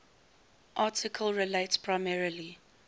article relates primarily